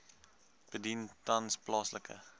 bedien tans plaaslike